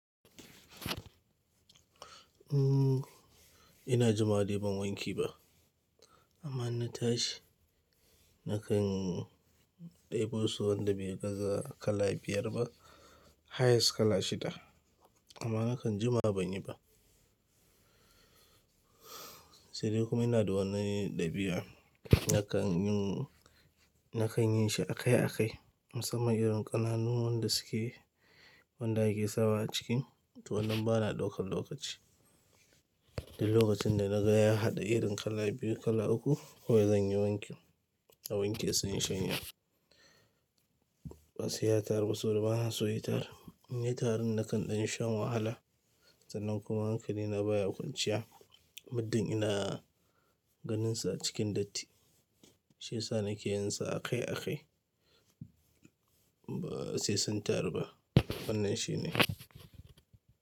Ina jima dai ban wanke ba, amma in na tashi. Nakan ɗebo su wanda bai gaza kala biyar ba, highest kala shida. Amma nakan jima banyi ba. Sai dai kuma ina da wannan ɗabi'a, nakan yin, nakan yin shi a kai a kai. Musamman irin ƙananuwan da suke, wanda ake sawa a cikin, to wannan bana ɗaukan lokaci. Duk lokacin da na ga ya haɗa irin kala biyu, kala uku, kawai zan yi wankin. A wanke sai in shanya. Ba sai ya taru ba saboda bana so ya taru. In yi tarin nakan ɗan sha wahala. Sanan kuma hankali na baya kwanciya. Muddin ina ganinsa a cikin datti, shiyasa nake yinsa a kai a kai ba sai sun tarar ba. Wannan shine.